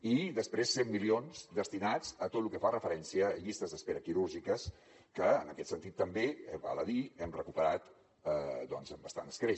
i després cent milions destinats a tot lo que fa referència a llistes d’espera quirúrgiques que en aquest sentit també val a dir hem recuperat doncs amb bastant escreix